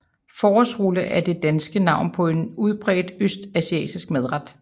Forårsrulle er det danske navn på en udbredt østasiatisk madret